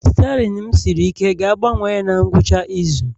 Steerin m siri ike ga-agbanwe ya na ngwụcha izu